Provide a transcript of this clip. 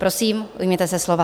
Prosím, ujměte se slova.